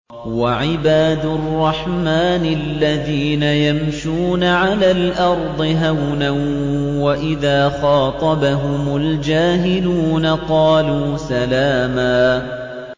وَعِبَادُ الرَّحْمَٰنِ الَّذِينَ يَمْشُونَ عَلَى الْأَرْضِ هَوْنًا وَإِذَا خَاطَبَهُمُ الْجَاهِلُونَ قَالُوا سَلَامًا